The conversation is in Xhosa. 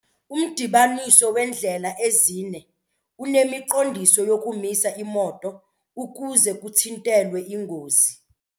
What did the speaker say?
Umdibaniso weendlela ezine unemiqondiso yokumisa iimoto ukuze kuthintelwe iingozi.